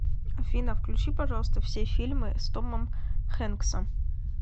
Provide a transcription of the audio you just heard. афина включи пожалуйста все фильмы с томом хэнксом